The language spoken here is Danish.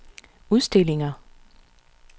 udstillinger